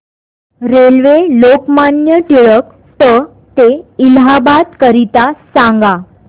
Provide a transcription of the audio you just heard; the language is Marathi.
रेल्वे लोकमान्य टिळक ट ते इलाहाबाद करीता सांगा